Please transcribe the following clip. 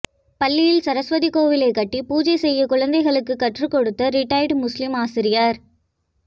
பள்ளியில் சரஸ்வதி கோவிலை கட்டி பூஜை செய்ய குழந்தைகளுக்கு கற்றுக் கொடுத்த ரிடையர்ட் முஸ்லீம் ஆசிரியர்